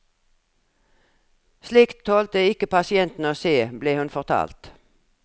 Slikt tålte ikke pasientene å se, ble hun fortalt.